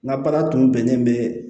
N ka baara tun bɛnnen bɛ